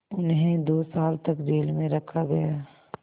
उन्हें दो साल तक जेल में रखा गया